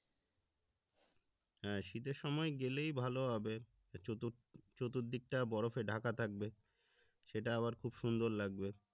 হ্যা শীতের সময় গেলেই ভালো হবে চতুর্দিক টা বরফে ঢাকা থাকবে সেটা আবার খুব লাগবে